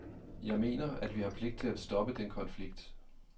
Jeg mener, at vi har pligt til at stoppe den konflikt.